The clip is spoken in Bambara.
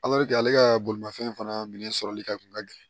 ale ka bolimafɛn fana minɛ sɔrɔli ka kun ka gɛlɛn